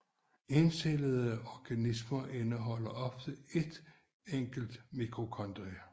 Encellede organismer indeholder ofte ét enkelt mitokondrie